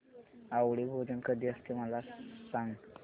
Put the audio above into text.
आवळी भोजन कधी असते मला सांग